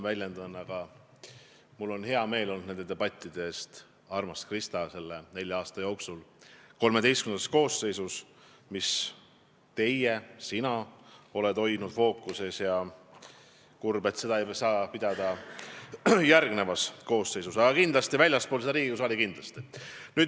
Mul on olnud hea meel nende debattide üle, armas Krista, mida teie nende Riigikogu XIII koosseisu nelja aasta jooksul fookuses hoidsite – mida sina fookuses hoidsid –, ja ma olen kurb, et neid ei saa pidada järgmises koosseisus, aga väljaspool Riigikogu saali saab seda teha kindlasti.